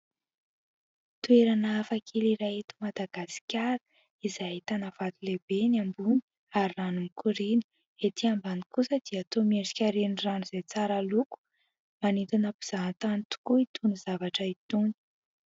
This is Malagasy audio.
Toerana hafakely iray eto Madagasikara, izay ahitana vato lehibe eny ambony, ary rano mikoriana. Etỳ ambany kosa dia toa miedrika renirano izay tsara loko. Manintona mpizahantany tokoa itony zavatra itony.